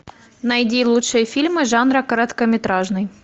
найди лучшие фильмы жанра короткометражный